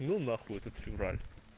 ну нахуй этот февраль